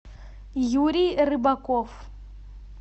юрий рыбаков